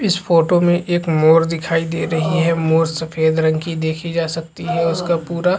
इस फोटो में एक मोर दिखाई दे रही है मोर सफ़ेद रंग की देखी जा सकती है उसका पूरा--